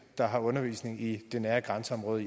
der har undervisning i det nære grænseområde